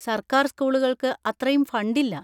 സർക്കാർ സ്കൂളുകൾക്ക് അത്രയും ഫണ്ടില്ല.